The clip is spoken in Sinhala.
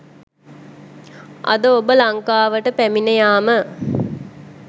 අද ඔබ ලංකාවට පැමිණියාම